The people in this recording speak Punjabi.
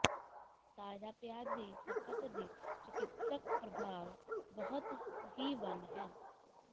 ਤਾਜ਼ਾ ਪਿਆਜ਼ ਦੀ ਖਪਤ ਦੀ ਚਿਕਿਤਸਕ ਪ੍ਰਭਾਵ ਬਹੁਤ ਹੀ ਵੰਨ ਹੈ